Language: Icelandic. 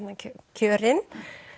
kjörin